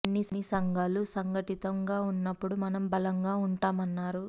అన్ని సంఘాలు సంఘటితం గా ఉన్పప్పుడు మనం బలంగా ఉంటామన్నారు